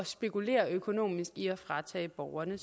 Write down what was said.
spekulere økonomisk i at fratage borgerne